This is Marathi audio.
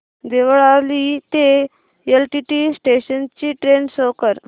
देवळाली ते एलटीटी स्टेशन ची ट्रेन शो कर